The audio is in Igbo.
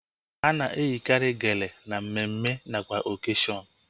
Ana eyikari geele na mmemme nakwa okashion